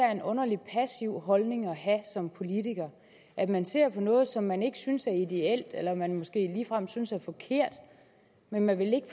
er en underlig passiv holdning at have som politiker at man ser noget som man ikke synes er ideelt eller som man måske ligefrem synes er forkert men man vil ikke